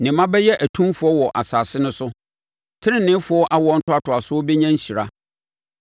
Ne mma bɛyɛ atumfoɔ wɔ asase no so; teneneefoɔ awoɔ ntoatoasoɔ bɛnya nhyira.